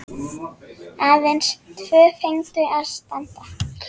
Aðeins tvö fengu að standa.